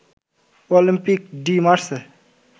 Olympic de Marseille